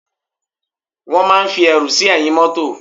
Wón máa ń fi ẹrù sí ẹ̀yìn mótò